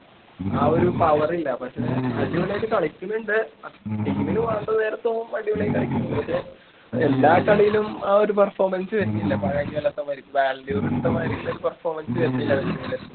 ആ ഒരു power ഇല്ല പക്ഷേ അടിപൊളി ആയിട്ട് കളിക്കണ്ണ്ട് അഹ് team ന് വേണ്ട നേരത്ത് അവൻ അടിപൊളി ആയി കളിക്കണ്ണ്ട് പക്ഷേ എല്ലാ കളിയിലും ആ ഒരു performance വരണില്ല പതിനഞ്ച് കൊല്ലത്തെ വരു balloon d or എടുത്ത മാതിരി ഉള്ള ഒരു performance വരുന്നില്ല അവൻ്റെ അടുത്തൂന്ന്